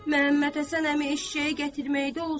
Məhəmməd Həsən əmi eşşəyi gətirməkdə olsun.